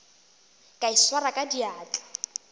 ka e swara ka diatla